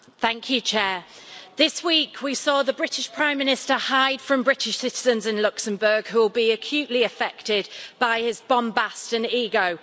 Madam President, this week we saw the British Prime Minister hide from British citizens in Luxembourg, who will be acutely affected by his bombast and ego.